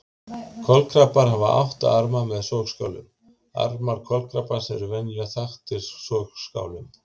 Kolkrabbar hafa átta arma með sogskálum Armar kolkrabbans eru venjulega þaktir sogskálum.